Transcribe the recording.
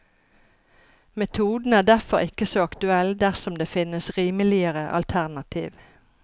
Metoden er derfor ikke så aktuell dersom det finnes rimeligere alternativ.